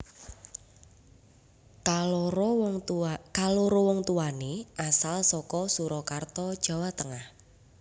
Kaloro wong tuwané asal saka Surakarta Jawa Tengah